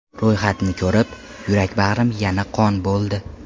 Ro‘yxatni ko‘rib, yurak-bag‘rim yana qon bo‘ldi.